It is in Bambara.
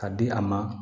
Ka di a ma